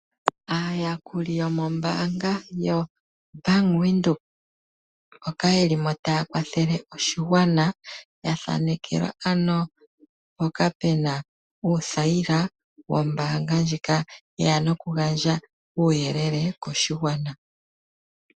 Aayakuli yomombaanga yo Bank Windhoek mboka ye limo ta ya kwathele oshigwana ya thanekelwa ano mpoka pe na uuthayila wombaanga ndjika ye ya nokugandja uuyelele koshigwana.